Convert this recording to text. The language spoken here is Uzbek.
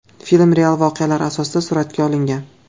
Film real voqealar asosida suratga olingan.